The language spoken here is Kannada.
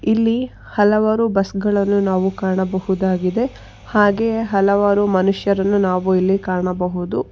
ಇಲ್ಲಿ ಹಲವಾರು ಬಸ್ ಗಳನ್ನು ನಾವು ಕಾಣಬಹುದಾಗಿದೆ ಹಾಗೆ ಹಲವಾರು ಮನುಷ್ಯರನ್ನು ನಾವು ಇಲ್ಲಿ ಕಾಣಬಹುದು.